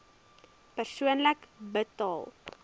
persoonlik betaal